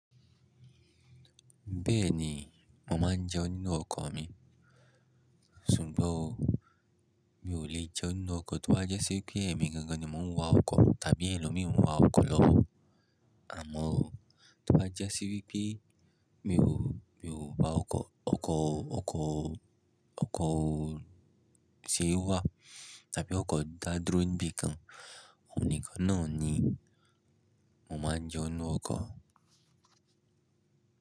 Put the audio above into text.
Bẹ́ẹ̀ ni, mo máa ń jẹun nínú ọkọ̀ mi, ṣùgbọ́n mi ò lè jẹun nínú ọkọ̀ tí ó bá jẹ́ sí pé èmi gangan ni mò ń wa ọkọ̀ tàbí ẹlòmíì mú wa ọkọ̀ lọ́bọ́. Àmọ́ ó, tó bá jẹ́ sí wípé mi ò, mi ò bá ọkọ̀, ọkọ̀, ọkọ̀, ọkọ̀ tí ó wà tàbí ọkọ̀ dádúro ńbí kan, òní kán náà ni mo máa ń jẹun nú ọkọ̀.